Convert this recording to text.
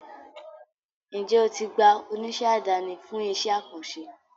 Njẹ o ti gba oníṣẹ́ àdáni fún iṣẹ́ àkànṣe?